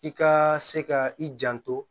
I ka se ka i janto